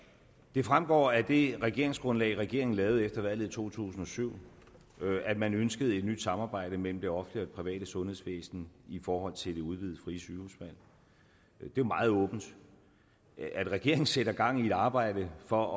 det fremgår af det regeringsgrundlag regeringen lavede efter valget i to tusind og syv at man ønskede et nyt samarbejde mellem det offentlige private sundhedsvæsen i forhold til det udvidede frie sygehusvalg det er meget åbent at regeringen sætter gang i et arbejde for